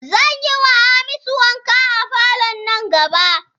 Zan yiwa Hamisu wanka a falo nan gaba.